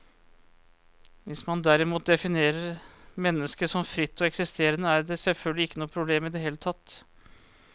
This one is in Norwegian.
Hvis man derimot definerer mennesket som fritt og eksisterende, er det selvfølgelig ikke noe problem i det hele tatt.